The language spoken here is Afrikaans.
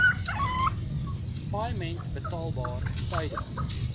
paaiement betaalbaar tydens